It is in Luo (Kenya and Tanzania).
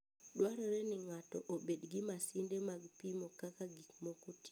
Dwarore ni ng'ato obed gi masinde mag pimo kaka gik moko tiyo.